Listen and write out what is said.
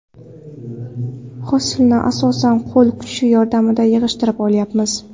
Hosilni asosan, qo‘l kuchi yordamida yig‘ishtirib olyapmiz.